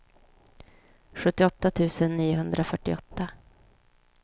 sjuttioåtta tusen niohundrafyrtioåtta